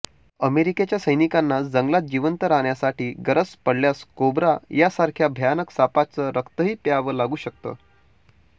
अमेरिकेच्या सैनिकांना जंगलात जिवंत राहण्यासाठी गरज पडल्यास कोब्रा यासारख्या भयानक सापाचं रक्तही प्यावं लागू शकतं